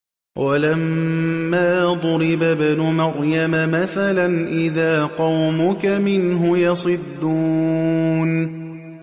۞ وَلَمَّا ضُرِبَ ابْنُ مَرْيَمَ مَثَلًا إِذَا قَوْمُكَ مِنْهُ يَصِدُّونَ